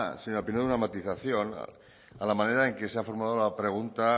señora pinedo una matización a la manera en que se ha formulado la pregunta